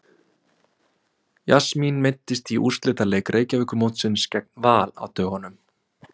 Jasmín meiddist í úrslitaleik Reykjavíkurmótsins gegn Val á dögunum.